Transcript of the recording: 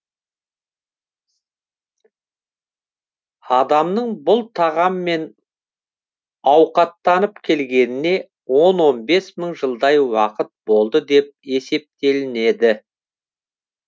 адамның бұл тағаммен ауқаттанып келгеніне он он бес мың жылдай уақыт болды деп есептелінеді